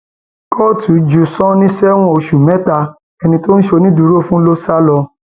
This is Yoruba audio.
kóòtù ju sani sẹwọn oṣù mẹta ẹni tó ṣonídùúró fún ló sá lọ